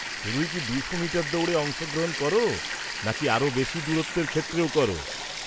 শুধুই কি দুশো মিটার দৌড়ে অংশগ্রহণ করো, নাকি আরও বেশি দূরত্বের ক্ষেত্রেও করো?